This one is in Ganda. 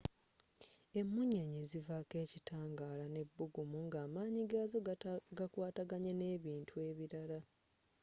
emunyenye zivako ekitangala n'ebbuggumu ng'amanyi gazzo gakwataganye n'ebintu ebilala